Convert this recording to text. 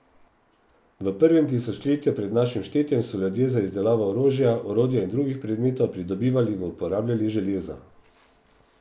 V prvem tisočletju pred našim štetjem so ljudje za izdelavo orožja, orodja in drugih predmetov pridobivali in uporabljali železo.